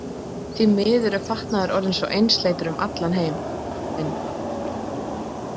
Því miður er fatnaður orðinn svo einsleitur um allan heiminn.